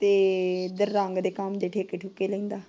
ਤੇ ਰੰਗ ਦੇ ਕੰਮ ਦੇ ਠੇਕੇ ਠੁੱਕੇ ਲੈਂਦਾ।